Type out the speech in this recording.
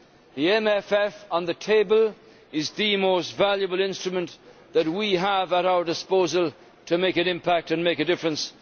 The MFF on the table is the most valuable instrument that we have at our disposal to make an impact and make a difference.